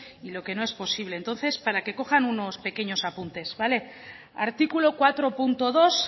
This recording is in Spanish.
y lo que no es posible entonces para que cojan unos pequeños apuntes vale artículo cuatro punto dos